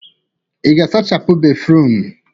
Ị ga-asachapụ béfrụm?